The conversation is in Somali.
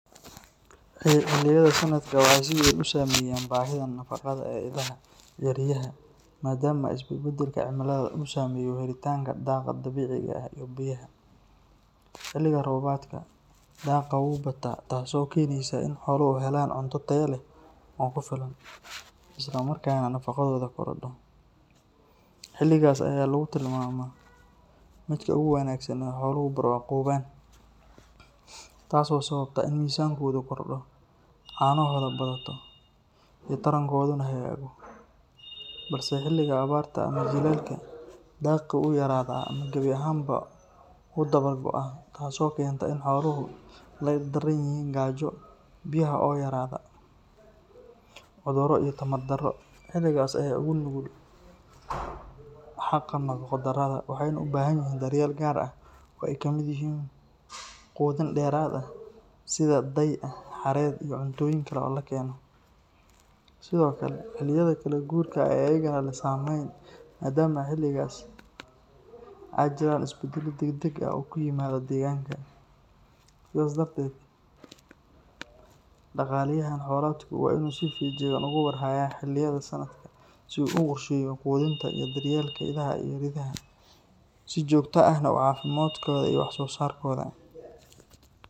Hiliyada sanadka waxa si weyn usameyaan bahida nafagada ee idaha, iyo riyaha madamu isbabadalka cimilada uu sameyo helitanka dagaa dabiciga ah iyo biyaha, hiliga roobadka dagaa wu bataa tass oo keneyso in xoolaha ay helaan cunto taya leh oo kufilan, isla markana nafagadod korado, hiligas aya lagutilmama midka oguwanagsanee xolaha barwogiwan , taas oo sawabta in misankoda kordo, canhoda badato iyo tarankoda hagago, bakse hiliga abarta ama jilalka dagaa wu yarada qawii ahanba, wu dawar goa taas oo kenta in holahu laildaranyihiin gajo iyo biyaha oo yarada, cuduro iyo tabar taro , hikigaas aya unugul haga nafaga darada waxayna ubahnyixiin daryel gaar oo ay kamid yixiin qudin derat ah, sidha hareda iyo cuntoyin kale oo lakeno, sidhokale hikiyada kalaguurka ee igayana leh sameyn madama hiligaas ay jiraan ispadala dagdag ah oo kuyimada deganka, sidas darded daqalyahen xoolaha wa inu si fayajignan ogu war hayo hiliyada sanadka, si uu ugoesheyo gudinta iyo daryelka idaha iyo riyaha si jogta ah cadimadkoda iyo wah sosarkoda.